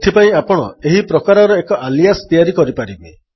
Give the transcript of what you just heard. ଏଥିପାଇଁ ଆପଣ ଏହିପ୍ରକାରର ଏକ ଆଲିଆସ୍ ତିଆରି କରିପାରିବେ